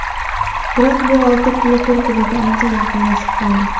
Biroq bu olti klub bir-biriga ancha yaqinlashib qoldi.